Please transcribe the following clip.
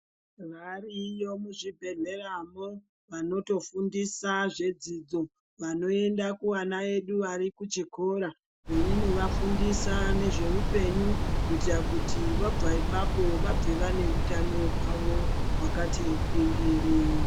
Variyo muzvibhedhleyamwo vanotofundisa zvidzidzo vanoenda kuvana vedu vari kuchikora veinovafundisa nezveupenyu kuitira kuti vabva ipapo vabve vane utano hwavo hwakati gwindiri.